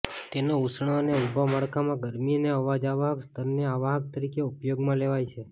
તેનો ઉષ્ણ અને ઉભા માળખામાં ગરમી અને અવાજ અવાહક સ્તરને અવાહક તરીકે ઉપયોગમાં લેવાય છે